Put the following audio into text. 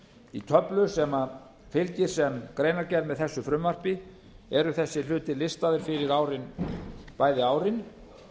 í töflu sem fylgir sem greinargerð með þessu frumvarpi eru þessir hlutir listaðir fyrir bæði árin